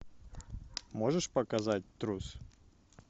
можешь показать трус